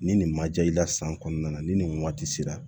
Ni nin ma ja i la san kɔnɔna na ni nin waati sera